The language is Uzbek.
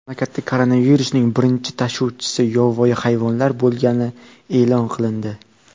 Mamlakatda koronavirusning birinchi tashuvchisi yovvoyi hayvonlar bo‘lgani e’lon qilindi .